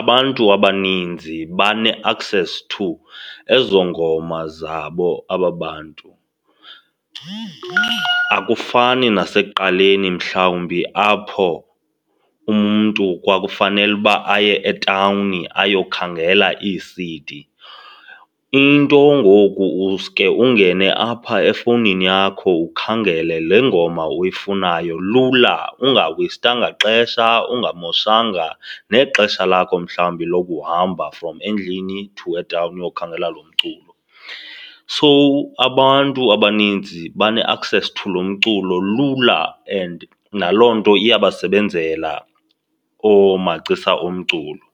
abantu abaninzi bane-access to ezo ngoma zabo aba bantu. Akufani nasekuqaleni mhlawumbi apho umntu kwakufanele uba aye etawuni ayokhangela ii-C_ D. Into ngoku uske ungene apha efowunini yakho ukhangele le ngoma uyifunayo lula ungaweyistestanga ixesha, ungamoshanga nexesha lakho mhlawumbi lokuhamba from endlini to etawuni uyokhangela lo mculo. So abantu abaninzi bane-access to lo mculo lula and naloo nto iyabasebenzela oomagcisa omculo.